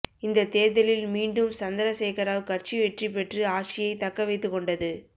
இந்த தேர்தலில் மீண்டும் சந்திரசேகராவ் கட்சி வெற்றி பெற்று ஆட்சியை தக்க வைத்து கொண்டது